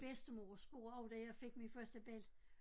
Min bedstemor spurgte også da jeg fik min første belli